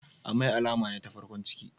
Amai alama ne ta farkon ciki.